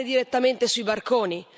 Sparare direttamente sui barconi?